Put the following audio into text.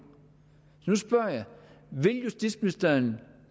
vil justitsministeren